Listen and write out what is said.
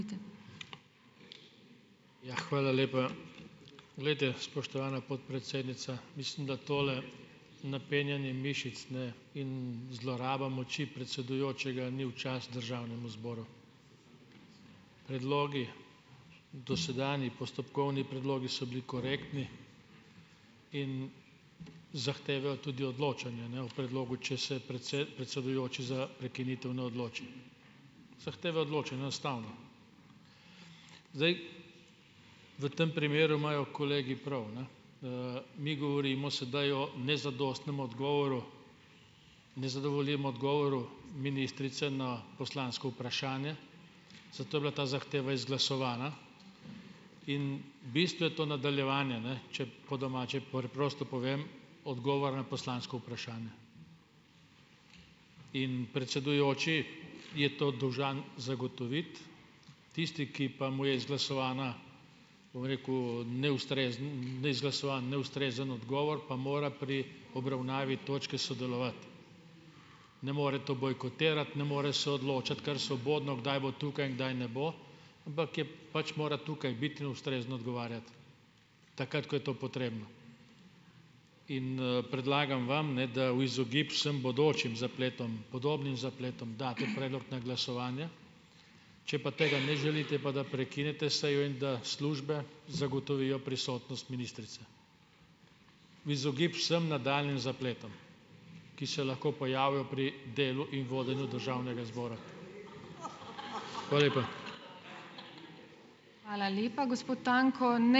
Ja, hvala lepa. Glejte, spoštovana podpredsednica, mislim, da tole napenjanje mišic, in zloraba moči predsedujočega ni v čas državnemu zboru. Predlogi ... Dosedanji postopkovni predlogi so bili korektni in zahtevajo tudi odločanje, o predlogu, če se predsedujoči za prekinitev ne odloči. Zdaj. V tem primeru imajo kolegi prav, mi govorimo sedaj o nezadostnem odgovoru, nezadovoljivem odgovoru ministrice na poslansko vprašanje, zato je bila ta zahteva izglasovana in v bistvu je to nadaljevanje, če po domače, preprosto povem odgovor na poslansko vprašanje. In predsedujoči je to dolžan zagotoviti, tisti, ki pa mu je izglasovana, bom rekel, neustrezen, neizglasovan, neustrezen odgovor, pa mora pri obravnavi točke sodelovati. Ne more to bojkotirati, ne more se odločiti kar svobodno, kdaj bo tukaj in kdaj ne bo, ampak je pač mora tukaj biti in ustrezno odgovarjati. Takrat, ko je to potrebno. In, predlagam vam, da v izogib vsem bodočim zapletom, podobnim zapletom daste predlog na glasovanje. Če pa tega ne želite, pa da prekinete sejo in da službe zagotovijo prisotnost ministrice. V izogib vsm nadaljnjim zapletom, ki se lahko pojavijo pri delu in vodenju državnega zbora. Hvala lepa.